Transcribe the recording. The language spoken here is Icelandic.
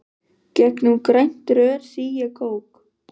Gegnum grænt rör sýg ég kók.